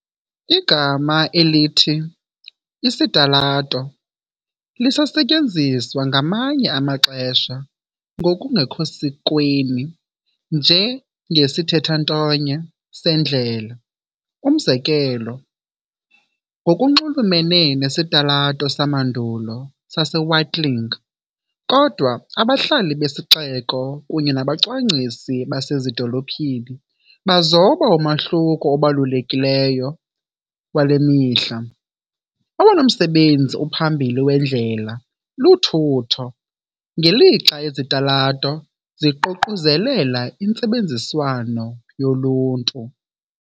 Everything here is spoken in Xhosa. Igama elithi "isitalato" lisasetyenziswa ngamanye amaxesha ngokungekho sikweni njengesithethantonye "sendlela", umzekelo ngokunxulumene nesitalato samandulo saseWatling, kodwa abahlali besixeko kunye nabacwangcisi basezidolophini bazoba umahluko obalulekileyo wale mihla- owona msebenzi uphambili wendlela luthutho, ngelixa izitalato ziququzelela intsebenziswano yoluntu.